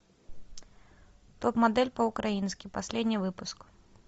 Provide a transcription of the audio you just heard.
топ модель по украински последний выпуск